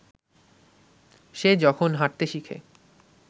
সে যখন হাঁটতে শিখে